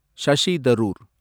Shashi Tharoor